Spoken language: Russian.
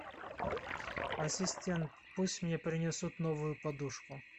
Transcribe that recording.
ассистент пусть мне принесут новую подушку